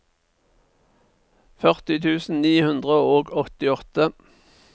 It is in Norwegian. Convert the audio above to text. førti tusen ni hundre og åttiåtte